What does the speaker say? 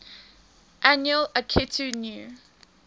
annual akitu new